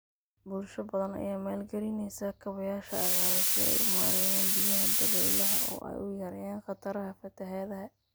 Bulsho badan ayaa maalgelinaysa kaabayaasha cagaaran si ay u maareeyaan biyaha dabaylaha oo ay u yareeyaan khataraha fatahaadaha.